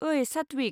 ओइ, सात्विक!